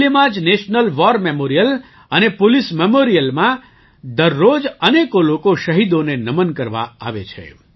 દિલ્હીમાં જ national war memorial અને પોલીસ Memorialમાં દર રોજ અનેકો લોકો શહીદોને નમન કરવા આવે છે